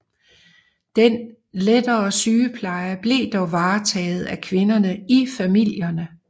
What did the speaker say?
Den lettere sygepleje blev dog varetaget af kvinder i familierne